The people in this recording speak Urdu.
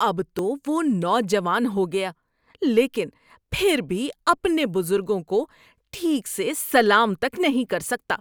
اب تو وہ نوجوان ہو گیا لیکن پھر بھی اپنے بزرگوں کو ٹھیک سے سلام تک نہیں کر سکتا۔